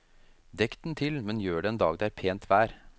Dekk den til, men gjør det en dag det er pent vær.